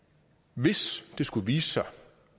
hvis det skulle vise sig